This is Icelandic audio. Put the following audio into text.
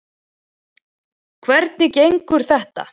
Hvernig gengur þetta?